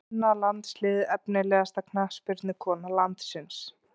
Kvennalandsliðið Efnilegasta knattspyrnukona landsins?